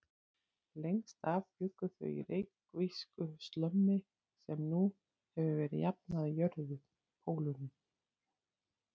Lengst af bjuggu þau í reykvísku slömmi sem nú hefur verið jafnað við jörðu: Pólunum.